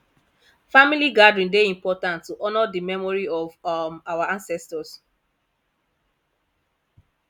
family gathering dey important to honor the memory of um our ancestors